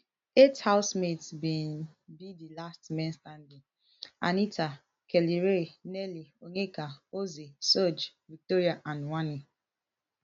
eight housemates bin be di last men standing anita kellyrae nelly onyeka ozee sooj victoria and wanni